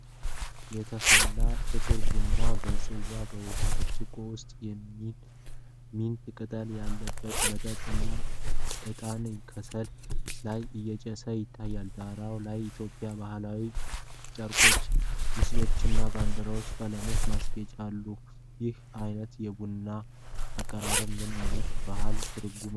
የተፈላ ጥቁር ቡና በጽዋ፣ በውሃ ብርጭቆ ውስጥ ሚንት ቅጠል ያለበት መጠጥ እና ዕጣን ከሰል ላይ እያጨሰ ይታያል። ዳራ ላይ የኢትዮጵያ ባሕላዊ ጨርቆች፣ ምስሎች እና የባንዲራ ቀለሞች ያሏቸው ማስጌጫዎች አሉ። ይህ አይነት የቡና አቀራረብ ምን አይነት ባህላዊ ትርጉም አለው?